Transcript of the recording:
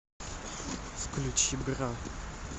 включи бра